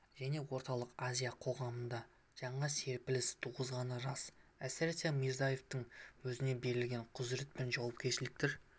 және орталық азия қоғамында жаңа серпіліс туғызғаны рас әсіресе мирзиеевтің өзіне берілген құзырет пен жауапкершіліктер